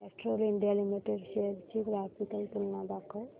Castrol India limited shares ची graphical तुलना दाखव